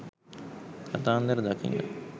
කාන්තාර දකින්න